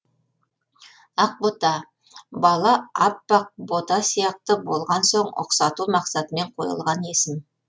ақбота бала аппақ бота сияқты болған соң ұқсату мақсатымен қойылған есім